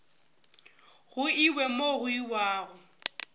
go iwe mo go iwago